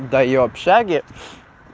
да и в общаге